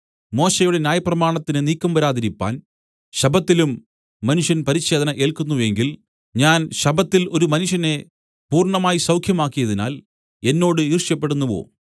മോശെയുടെ ന്യായപ്രമാണത്തിന് നീക്കം വരാതിരിപ്പാൻ ശബ്ബത്തിലും മനുഷ്യൻ പരിച്ഛേദന ഏല്ക്കുന്നു എങ്കിൽ ഞാൻ ശബ്ബത്തിൽ ഒരു മനുഷ്യനെ പൂർണ്ണമായി സൌഖ്യമാക്കിയതിനാൽ എന്നോട് ഈർഷ്യപ്പെടുന്നുവോ